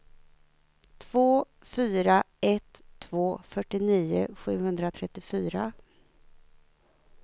två fyra ett två fyrtionio sjuhundratrettiofyra